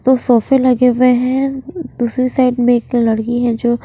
तो सोफे लगे हुए हैं दूसरी साइड में एक लड़की है जो--